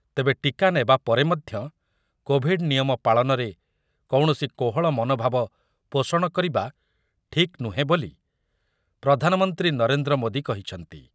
ତେବେ ଟୀକା ନେବା ପରେ ମଧ୍ୟ କୋଭିଡ୍ ନିୟମ ପାଳନରେ କୌଣସି କୋହଳ ମନୋଭାବ ପୋଷଣ କରିବା ଠିକ୍ ନୁହେଁ ବୋଲି ପ୍ରଧାନମନ୍ତ୍ରୀ ନରେନ୍ଦ୍ର ମୋଦୀ କହିଛନ୍ତି ।